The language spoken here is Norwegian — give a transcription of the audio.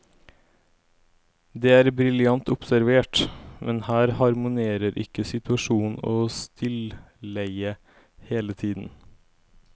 Det er briljant observert, men her harmonerer ikke situasjon og stilleie hele tiden.